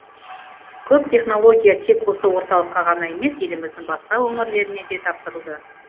көп технология тек осы орталыққа ғана емес еліміздің басқа өңірлеріне де тапсырылды